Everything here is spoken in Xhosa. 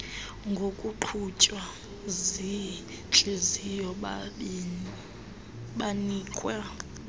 ngokuqhutywa ziintliziyo banikwa